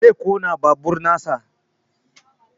Zai ƙona babur nasa